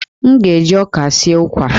M ga-eji ọka sie ụkwa